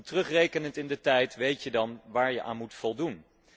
Terugrekenend in de tijd weet je dan waar je aan moet voldoen.